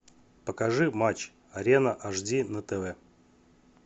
покажи матч арена ашди на тв